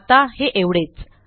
आत्ता हे एवढेच